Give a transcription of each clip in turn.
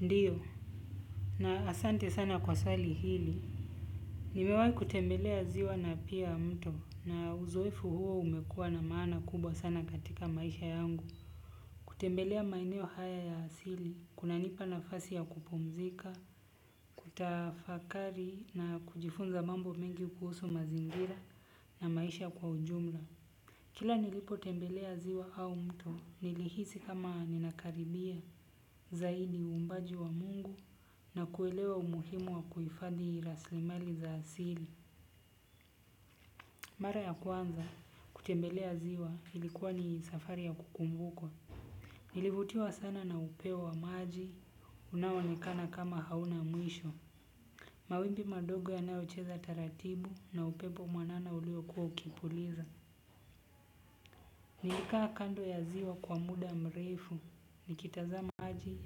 Ndio. Na asante sana kwa swali hili. Nimewahi kutembelea ziwa na pia mto na uzoefu huo umekuwa na maana kubwa sana katika maisha yangu. Kutembelea maeneo haya ya asili kunanipa nafasi ya kupumzika, kutafakari na kujifunza mambo mengi kuhusu mazingira na maisha kwa ujumla. Kila nilipotembelea ziwa au mto, nilihisi kama ninakaribia zaidi uumbaji wa mungu na kuelewa umuhimu wa kuhifadhi rasilimali za asili. Mara ya kwanza kutembelea ziwa ilikuwa ni safari ya kukumbukwa. Nilivutiwa sana na upeo wa maji, unaoonekana kama hauna mwisho. Mawimbi madogo yanayocheza taratibu na upepo mwanana ulio kuwa ukipuliza. Nilikaa kando ya ziwa kwa muda mrefu, nikitazama maji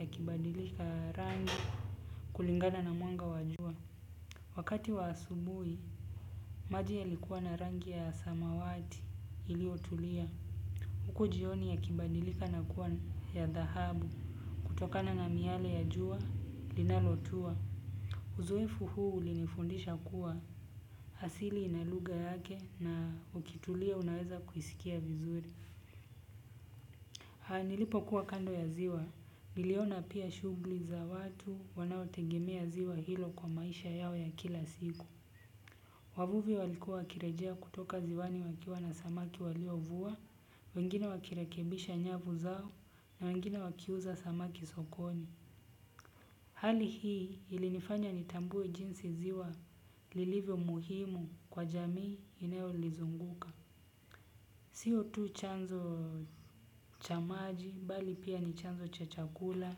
yakibadilika rangi kulingana na mwanga wa jua. Wakati wa asubuhi, maji yalikuwa na rangi ya samawati iliyotulia. Huku jioni yakibadilika na kuwa ya dhahabu kutokana na miale ya jua linalotua. Uzoefu huu ulinifundisha kuwa asili ina lugha yake na ukitulia unaweza kuisikia vizuri. Nilipokuwa kando ya ziwa, niliona pia shughuli za watu wanaotegemea ziwa hilo kwa maisha yao ya kila siku. Wavuvi walikuwa wakirejea kutoka ziwani wakiwa na samaki waliovua, wengine wakirekebisha nyavu zao na wengine wakiuza samaki sokoni. Hali hii ilinifanya nitambue jinsi ziwa lilivyo muhimu kwa jamii inayolizunguka. Sio tu chanzo cha maji, bali pia ni chanzo cha chakula,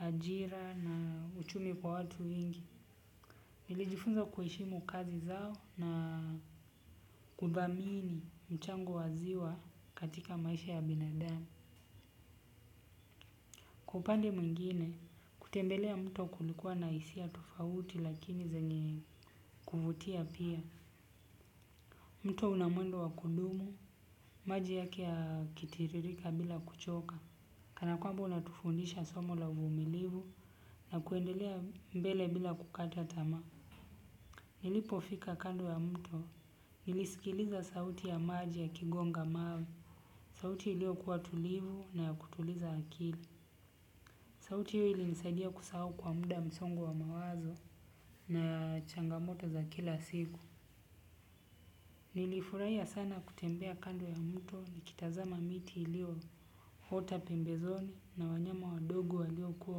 ajira na uchumi kwa watu wengi. Nilijifunza kuheshimu kazi zao na kuthamini mchango wa ziwa katika maisha ya binadamu. Kwa upande mwingine, kutembelea mto kulikuwa na hisia tofauti lakini zenye kuvutia pia. Mto una mwendo wa kudumu, maji yake yakitiririka bila kuchoka. Kana kwamba unatufundisha somo la uvumilivu na kuendelea mbele bila kukata tamaa. Nilipofika kando ya mto, nilisikiliza sauti ya maji yakigonga mawe. Sauti iliyokuwa tulivu na ya kutuliza akili. Sauti hiyo ilinisaidia kusahau kwa muda msongo wa mawazo na changamoto za kila siku. Nilifurahia sana kutembea kando ya mto nikitazama miti iliyoota pembezoni na wanyama wadogo waliokuwa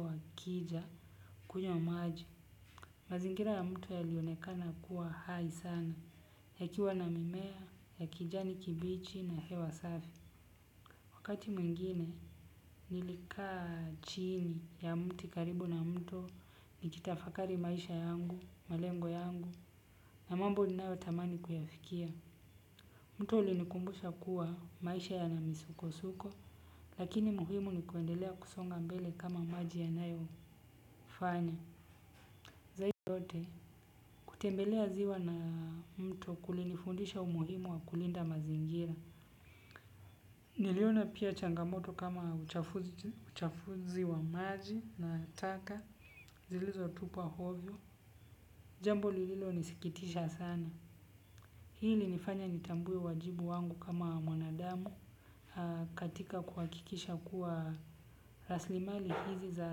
wakija. Kunywa maji, mazingira ya mto yalionekana kuwa hai sana, yakiwa na mimea, ya kijani kibichi na hewa safi. Wakati mwingine, nilikaa chini ya mti karibu na mto nikitafakari maisha yangu, malengo yangu, na mambo ninayotamani kuyafikia. Mto ulinikumbusha kuwa maisha yana misukosuko, lakini muhimu ni kuendelea kusonga mbele kama maji yanayofanya. Zaidi yote, kutembelea ziwa na mto kulinifundisha umuhimu wa kulinda mazingira. Niliona pia changamoto kama uchafuzi wa maji na taka, zilizotupwa ovyo. Jambo lililonisikitisha sana. Hii ilinifanya nitambue wajibu wangu kama mwanadamu katika kuhakikisha kuwa rasilimali hizi za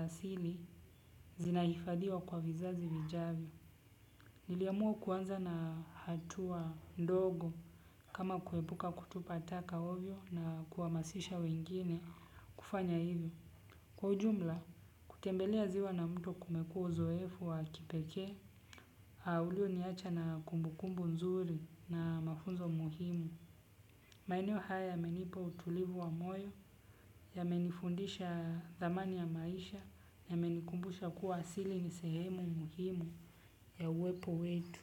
asili zinahifadhiwa kwa vizazi vijavyo. Niliamua kuanza na hatua ndogo kama kuepuka kutupa taka ovyo na kuhamasisha wengine kufanya hivyo. Kwa ujumla, kutembelea ziwa na mto kumekuwa uzoefu wa kipekee, ulioniacha na kumbukumbu nzuri na mafunzo muhimu. Maeneo haya yamenipa utulivu wa moyo, yamenifundisha dhamani ya maisha, yamenikumbusha kuwa asili ni sehemu muhimu ya uwepo wetu.